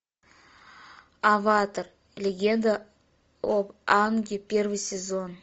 аватар легенда об аанге первый сезон